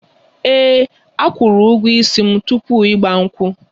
Ee, akwụrụ ụgwọ ísì m tupu igba nkwu